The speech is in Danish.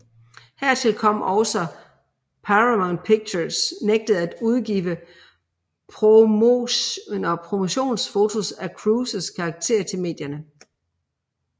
Hertil kom også at Paramount Pictures nægtede at udgive promotionsfotos af Cruises karakter til medierne